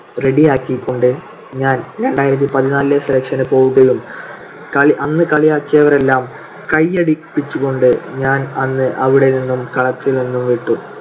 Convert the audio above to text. ready ആക്കികൊണ്ട് ഞാൻ രണ്ടായിരത്തിപതിനാലിലെ selection പോവുകയും അന്ന് കളിയാക്കിയവരെല്ലാം കൈയടിപ്പിച്ചുകൊണ്ടു ഞാൻ അന്ന് അവിടെനിന്നും കളത്തിൽ നിന്നും വിട്ടു.